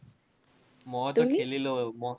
মই খেলিলো